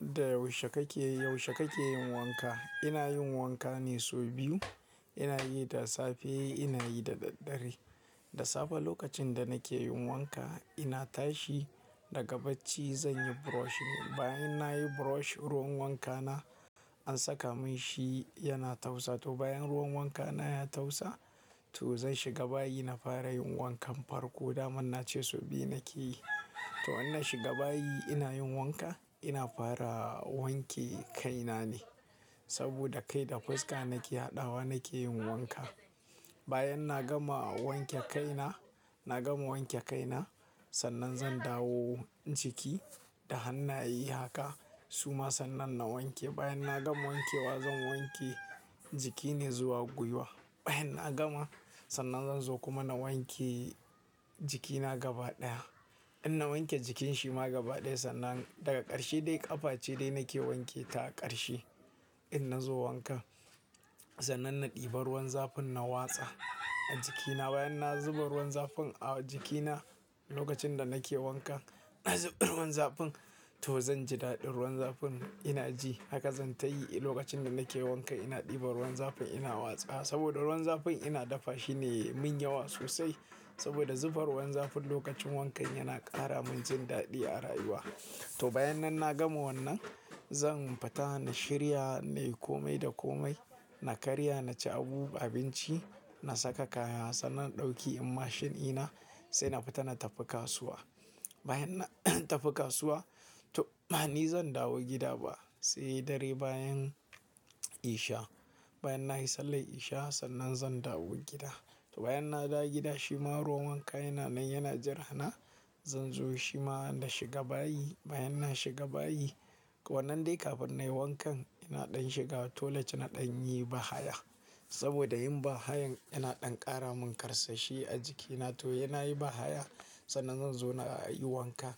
Da yaushe kake, yaushe kake yin wanka? Ina yin wanka ne sau biyu. Ina yi da safe, ina yi da daddare. Da safe lokacin da nake yin wanka, ina tashi daga bacci, zan yi brush. Bayan nayi brush ruwan wankana an saka min shi yana tausa. To bayan ruwan wankana ya tausa, to zan shiga bayi na fara yin wankan farko. Da man na ce sau biyu nake yi. To in na shiga bayi ina yin wanka, ina fara wanke kaina ne. Saboda kai da fuska nake haɗawa nake yin wanka. Bayan na gama wanke kaina, na gama wanke kaina, sannan zan dawo jiki. Da han na ye haka, suma sannan na wanke. Bayan na gama wankewa zan wanke jiki ne zuwa gwiwa. Bayan na gama, sannan zan zo kuma na wanke jikina gaba ɗaya. In na wanke jikin shi ma gaba ɗaya sannan daga ƙarshe dai ƙafa ce dai nake wanke ta a ƙarshe. In na zo wankan, sannan na ɗiba ruwan zafin na watsa a jikina. Bayan na zuba ruwan zafin a jikina lokacin da nake wanka, nazuba ruwan zafin to zan ji daɗin ruwan zafin ina ji. Haka zan tayi lokacin da nakeyin wankan ina ɗiban ruwan zafin ina watsawa. Saboda ruwan zafin ina dafa shi ne yayi min yawa sosai. Saboda zuba ruwan zafin lokacin wankan yana ƙara min jin daɗi a rayuwa. To bayan nan na gama wannan, zan fita na shirya nayi komai da komai. Na karya na ci abu, abinci. Na saka kaya sannan in ɗauki mashin ɗina sai na fita na tafi kasuwa. Bayan na tafi kasuwa to bani zan dawo gida ba sai dare bayan isha. Bayan nayi sallar isha sannan zan dawo gida. To bayan na dawo gida shi ma ruwan wanka yana nan yana jira na. Zan zo shi ma na shiga bayi. Bayan na shiga bayi, wannan dai kafin na yi wankan ina ɗan shiga toilet na ɗan yi bahaya. Saboda yin bahayan yana ɗan ƙara mun ƙarsashi a jikina. To ina yi bahaya sannan zan zo na yi wanka.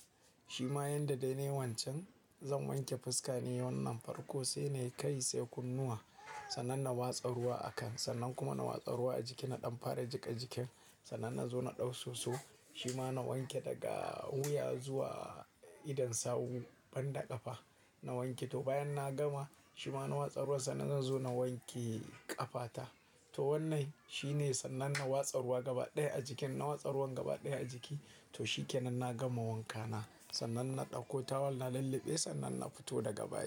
Shi ma yanda dai na yi wancan, zan wanke fuska ne wannan farko sai nayi kai sai kunnuwa. Sannan na watsa ruwa a kan, sannan kuma na watsa ruwa a jiki na ɗan fara jika jikin. Sannan na zo na ɗau soso shi ma na wanke daga wuya zuwa idon sawun banda ƙafa. Na wanke to bayan na gama shi ma na watsarwa sannan zan zo na wanke ƙafa ta. To wannan shi ne sannan na watsa ruwa gaba ɗaya a jikin. Na watsa ruwan gaba ɗaya a jiki to shi ke nan na gama wankana. Sannan na ɗauko tawal na lulluɓe sannan na fito daga bayi.